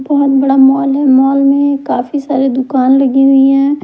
बोहोत बड़ा मोल हैमोल में काफी सारे दुकान लगी हुई है।